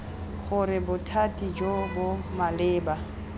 gore bothati jo bo maleba